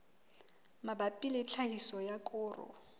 mabapi le tlhahiso ya koro